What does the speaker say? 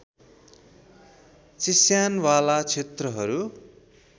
चिस्यान वाला क्षेत्रहरू